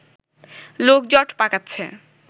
লোক জট পাকাচ্ছে